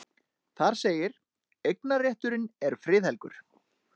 Þar segir: Eignarrétturinn er friðhelgur.